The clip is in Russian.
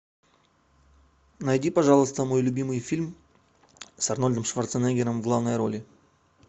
найди пожалуйста мой любимый фильм с арнольдом шварценеггером в главной роли